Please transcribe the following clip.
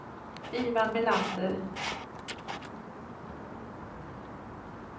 Ivan Melander